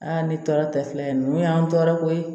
ne tɔɔrɔ tɛ filɛ ninnu y'an tɔɔrɔ ko ye